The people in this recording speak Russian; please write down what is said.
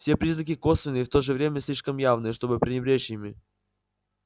все признаки косвенные и в то же время слишком явные чтобы пренебречь ими